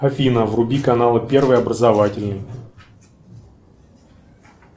афина вруби каналы первый образовательный